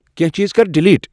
کینٛہہ چیز کر ڈیلیٹ ۔